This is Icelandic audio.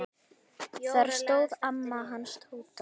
Þar stóð amma hans Tóta.